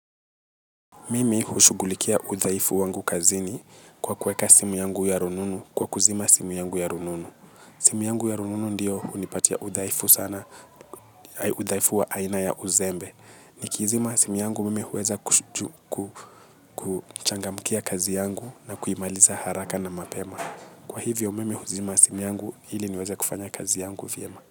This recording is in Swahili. Mimi hushugulikia udhaifu wangu kazini kwa kuweka simu yangu ya rununu kwa kuzima simu yangu ya rununu. Simu yangu ya rununu ndiyo unipatia udhaifu sana, udhaifu wa aina ya uzembe. Nikizima simu yangu mimi huweza kuchangamkia kazi yangu na kuimaliza haraka na mapema. Kwa hivyo mimi huzima simu yangu ili niweze kufanya kazi yangu vyema.